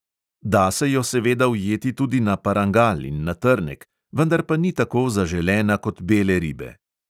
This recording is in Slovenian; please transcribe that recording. Da se jo seveda ujeti tudi na parangal in na trnek, vendar pa ni tako zaželena kot bele ribe.